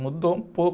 Mudou um pouco.